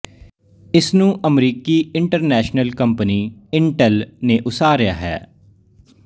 ਇਸਨੂੰ ਅਮਰੀਕੀ international company Intel ਨੇ ਉਸਾਰਿਆ ਹੈ